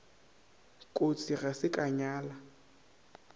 kotsi ga se ka nyala